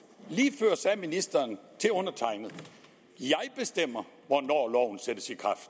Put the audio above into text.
lige før sagde ministeren til undertegnede jeg bestemmer hvornår loven sættes i kraft